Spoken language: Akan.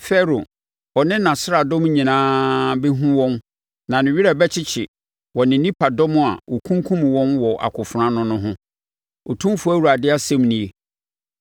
“Farao, ɔne nʼasraadɔm nyinaa bɛhunu wɔn na ne werɛ bɛkyekye wɔ ne nipadɔm a wɔkunkum wɔn wɔ akofena ano no ho, Otumfoɔ Awurade asɛm nie.